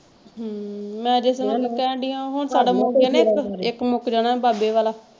ਹਮ ਮੈਂ ਤੇ ਤੁਹਾਨੂੰ ਕਹਿਣ ਦੀ ਆ ਹੁਣ ਸਾਡਾ ਮੁੱਕ ਗਿਆ ਨਾ ਇੱਕ ਇੱਕ ਮੁੱਕ ਜਾਣਾ ਬਾਬੇ ਵਾਲਾ।